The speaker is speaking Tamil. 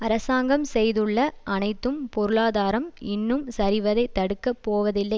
அரசாங்கம் செய்துள்ள அனைத்தும் பொருளாதாரம் இன்னும் சரிவதை தடுக்க போவதில்லை